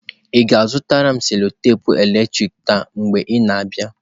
Ị ga-azụtara m cello-tepe eletrik taa mgbe ị na-abịa.